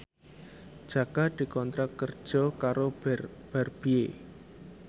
Jaka dikontrak kerja karo Barbie